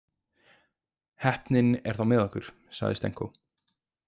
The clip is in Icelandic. Heppnin er þá með okkur, sagði Stenko.